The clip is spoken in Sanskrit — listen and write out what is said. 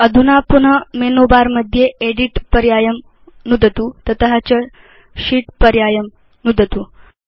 अधुना पुन मेनु बर मध्ये एदित् पर्यायं नुदतु तत च शीत् पर्यायं नुदतु